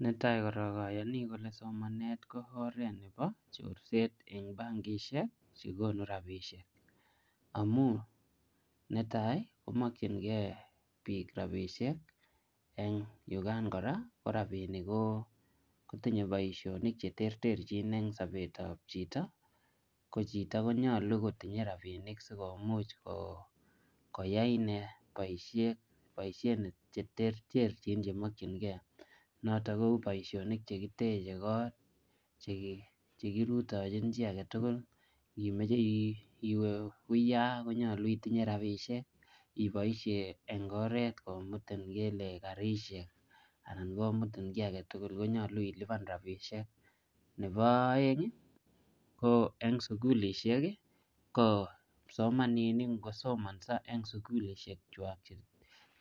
Ne tai korok, ayani kole somanet ko oret nebo chorset eng bankishek che konu rabishek. Amu netai komakchinkey biik rabisiek eng yukaan kora, ko rabinik ko kotinye boisonik che terterchin eng sobetob chito. Ko chito konyolu kotinye rabinik sikomuch ko koyai ine boisiet che terterchin chemokchinkey. Notok kou boisonik che kiteje kot, che ki, che kirutochin chiy age tugul. Ngimeche iwe uyaa, konyolu itinye rabisiek. Iboisie eng oret komutin ngele garishek anan komutin kiy age tugul konyolu ilipan rabisiek. Nebo aeng, ko eng sukulishek, ko kipsomaninik ngosomanso eng sukulishek chwak